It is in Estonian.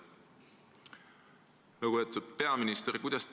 " Lugupeetud peaminister!